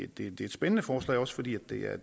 det er et spændende forslag også fordi det er